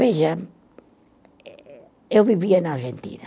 Veja, eh, eh, eu vivia na Argentina.